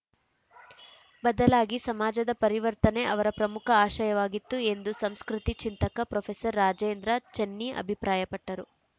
ಬದಲಾಗಿ ಸಮಾಜದ ಪರಿವರ್ತನೆ ಅವರ ಪ್ರಮುಖ ಆಶಯವಾಗಿತ್ತು ಎಂದು ಸಂಸ್ಕೃತಿ ಚಿಂತಕ ಪ್ರೊಫೆಸರ್ ರಾಜೇಂದ್ರ ಚೆನ್ನಿ ಅಭಿಪ್ರಾಯಪಟ್ಟರು